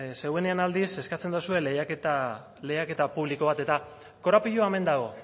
zuenean aldiz eskatzen dozue lehiaketa publiko bat eta korapiloa hemen dago